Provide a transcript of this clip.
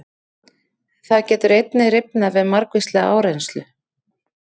Það getur einnig rifnað við margvíslega áreynslu.